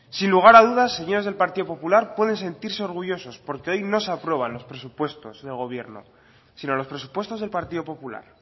sin lugar a dudas señores del partido popular pueden sentirse orgullosos porque hoy no se aprueban los presupuestos del gobierno sino los presupuestos del partido popular